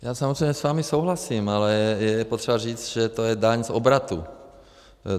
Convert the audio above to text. Já samozřejmě s vámi souhlasím, ale je potřeba říct, že to je daň z obratu.